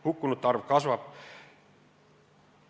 Hukkunute arv kasvab.